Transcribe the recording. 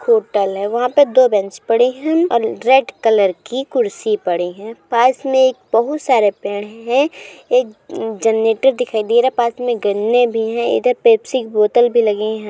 Hotel है वहां पे दो बेंच पड़ी है और रेड कलर की कुर्सी पड़ी है पास में एक बहुत सारे पेड़ है एक जनरेटर दिखाई दे रहा है पास में गन्ने भी है इधर पेप्सी की बोतल भी लगी है।